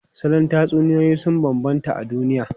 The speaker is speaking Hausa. Salon tatsuniyoyi sun bambanta a duniya.